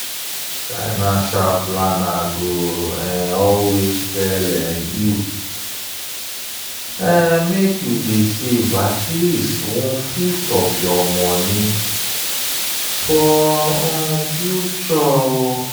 financial planner go um always tell um you make you dey save at least one-fifth of your money for um future.